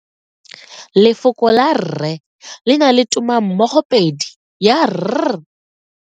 Lefoko la 'rre' le na le tumammogopedi ya r.